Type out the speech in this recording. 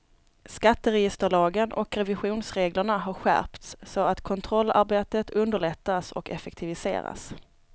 Skatteregisterlagen och revisionsreglerna har skärpts så att kontrollarbetet underlättas och effektiviseras.